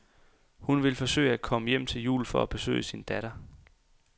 Hun vil forsøge at komme hjem til jul for at besøge sin datter.